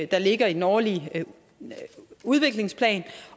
der ligger i den årlige udviklingsplan